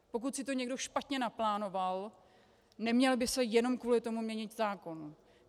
Pokud si to někdo špatně naplánoval, neměl by se jenom kvůli tomu měnit zákon.